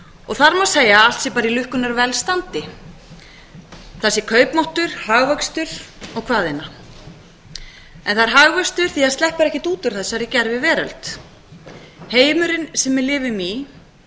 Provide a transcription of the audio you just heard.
og þar má segja að allt sé bara í lukkunnar velstandi þar sé kaupmáttur hagvöxtur og hvað eina en það er hagvöxtur því það sleppur ekkert út úr þessari gerviveröld heimurinn sem við lifum í